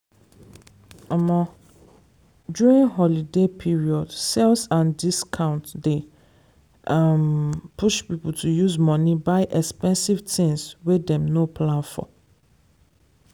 um during holiday period sales and discounts dey um push people to use money buy expensive things wey dem no plan for.